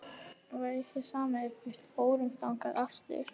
Væri þér sama ef við förum þangað aftur?-